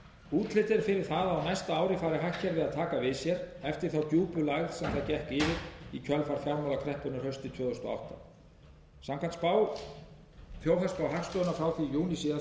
útlit er fyrir að á næsta ári fari hagkerfið að taka við sér eftir þá djúpu lægð sem gekk yfir það í kjölfar fjármálakreppunnar haustið tvö þúsund og átta samkvæmt þjóðhagsspá hagstofunnar frá júní síðastliðinn sem